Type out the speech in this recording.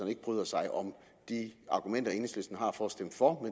ikke bryder sig om de argumenter enhedslisten har for at stemme for